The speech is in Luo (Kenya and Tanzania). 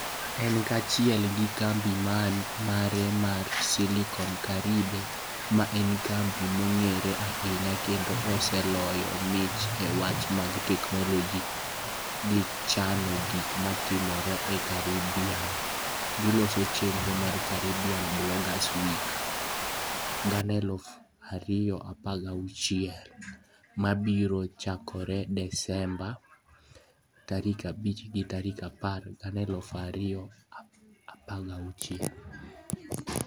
En kaachiel gi kambi mare mar SiliconCaribe, ma en kambi mong'ere ahinya kendo oseloyo mich e weche mag teknoloji, gi chano gik matimore e Caribbean, giloso chenro mar Caribbean Bloggers Week 2016 (#CBW2016) ma biro chakore Desemba 5-10, 2016.